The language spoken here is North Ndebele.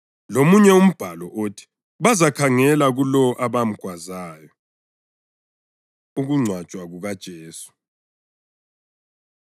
lomunye umbhalo uthi, “Bazakhangela kulowo abamgwazayo.” + 19.37 UZakhariya 12.10 Ukungcwatshwa KukaJesu